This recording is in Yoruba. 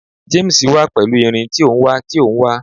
James wa pẹlu irin ti o n wa ti o n wa